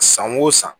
San o san